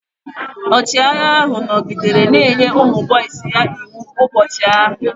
Ọchịagha ahụ nọgidere na-enye ụmụ boisi ya iwu ụbọchị ahụ.